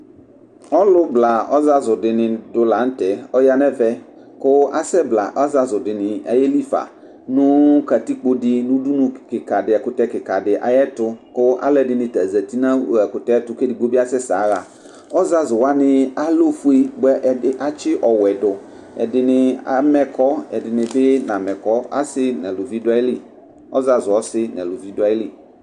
Ɔlʋbla ɔzazu dʋ lanʋtɛ yanʋ ɛvɛ kʋ asɛ bla ɔzazu dʋ yelifa nʋ katikpodi nʋ ɛkʋtɛ kikadi ayʋ ɛtʋ kʋ alʋɛdini ta zati nʋ ɛkʋtɛtʋ kʋ edigbobi asɛsɛ yaxa ɔzazu wani alɛ ofue bʋa ɛdi atsi ɔwɛdʋ ɛdini amɛ ɛkɔ ɛdini bi namɛ ɛkɔ ɔzazu asi nʋ alʋvi dʋ ayili